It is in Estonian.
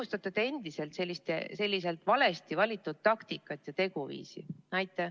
Kas te õigustate endiselt seda valesti valitud taktikat ja teguviisi?